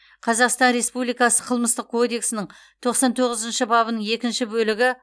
қазақстан республикасы қылмыстық кодексінің тоқсан тоғызыншы бабының екінші бөлігі